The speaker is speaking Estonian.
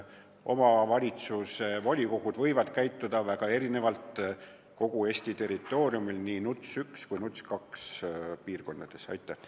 Omavalitsuste volikogud võivad käituda väga erinevalt kogu Eesti territooriumil, olgu tegu NUTS 1 või NUTS 2 tasandiga.